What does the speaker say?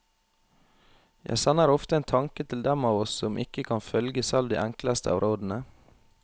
Jeg sender ofte en tanke til dem av oss som ikke kan følge selv de enkleste av rådene.